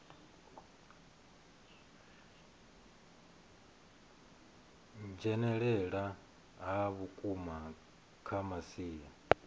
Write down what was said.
dzhenelela ha vhukuma kha masia